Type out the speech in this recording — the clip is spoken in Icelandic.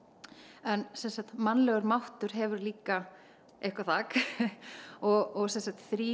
en mannlegur máttur hefur líka eitthvað þak og þrír